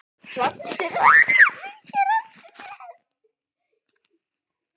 Svartur fylgir eftir með.